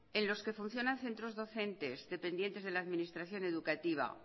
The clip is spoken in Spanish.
en los que funcionan centros docentes dependientes de las administración educativa